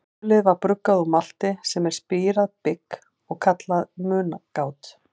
Ölið var bruggað úr malti, sem er spírað bygg, og kallað mungát.